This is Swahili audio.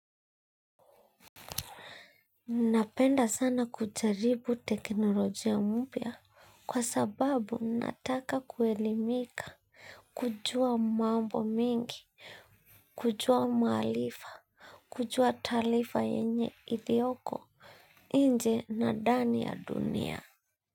Napenda sana kujaribu teknolojia mpya kwa sababu nataka kuelimika, kujua mambo mingi, kujua maalifa, kujua taalifa yenye ilioko inje na dani ya dunia.